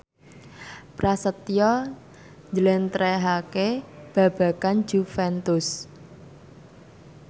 Prasetyo njlentrehake babagan Juventus